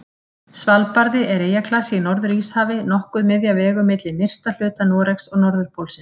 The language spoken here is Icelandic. Svalbarði er eyjaklasi í Norður-Íshafi, nokkuð miðja vegu milli nyrsta hluta Noregs og norðurpólsins.